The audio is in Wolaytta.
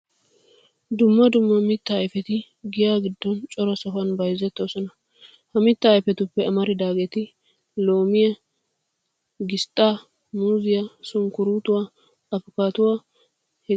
Dumma dumma mittaa ayfeti giya giddon cora sohuwan bayzettoosona. Ha mittaa ayfetuppe amaridaageeti, loomiya, gisxxaa, muuziya, sunkkuruutuwa, afkkaattuwane heganne hegaa malatiyabata